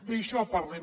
d’això parlem